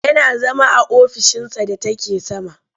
Yana zama a ofishinsa da take sama.